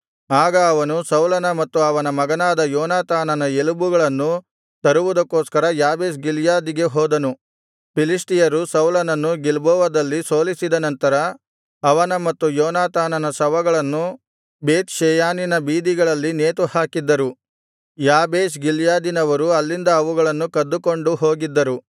ಆಗ ಅವನು ಸೌಲನ ಮತ್ತು ಅವನ ಮಗನಾದ ಯೋನಾತಾನನ ಎಲುಬುಗಳನ್ನು ತರುವುದಕ್ಕೋಸ್ಕರ ಯಾಬೇಷ್ ಗಿಲ್ಯಾದಿಗೆ ಹೋದನು ಫಿಲಿಷ್ಟಿಯರು ಸೌಲನನ್ನು ಗಿಲ್ಬೋವದಲ್ಲಿ ಸೋಲಿಸಿದ ನಂತರ ಅವನ ಮತ್ತು ಯೋನಾತಾನನ ಶವಗಳನ್ನು ಬೇತ್ ಷೆಯಾನಿನ ಬೀದಿಗಳಲ್ಲಿ ನೇತುಹಾಕಿದ್ದರು ಯಾಬೇಷ್ ಗಿಲ್ಯಾದಿನವರು ಅಲ್ಲಿಂದ ಅವುಗಳನ್ನು ಕದ್ದುಕೊಂಡು ಹೋಗಿದ್ದರು